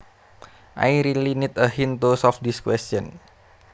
I really need a hint to solve this question